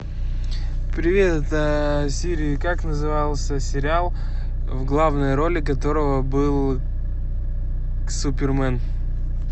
привет сири как назывался сериал в главной роли которого был супермен